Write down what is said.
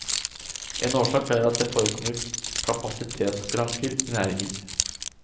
En årsak er at det forekommer kapasitetsskranker i næringen.